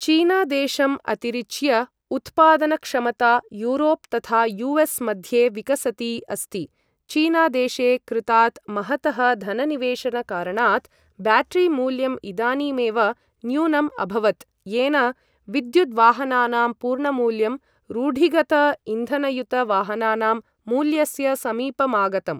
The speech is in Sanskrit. चीनादेशम् अतिरिच्य उत्पादनक्षमता यूरोप् तथा यु.एस्. मध्ये विकसती अस्ति। चिनादेशे कृतात् महतः धननिवेशनकारणात् ब्याटरी मूल्यं इदानीमेव न्यूनम् अभवत् येन विद्युद्वाहनानां पूर्णमूल्यं रूढिगत इन्धनयुत वाहनानां मूल्यस्य समीपमागतम्।